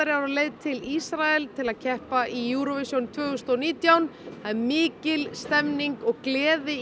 er á leið til Ísraels til að keppa í Eurovision tvö þúsund og nítján það er mikil stemning og gleði í